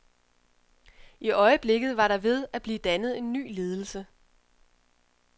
I øjeblikket var der ved at blive dannet en ny ledelse.